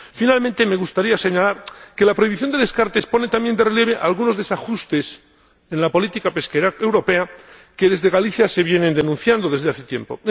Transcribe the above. Finalmente, me gustaría señalar que la prohibición de descartes pone también de relieve algunos desajustes en la política pesquera europea que, desde Galicia, se vienen denunciando desde hace tiempo.